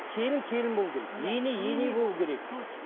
келін келін болу керек ене ене болу керек точно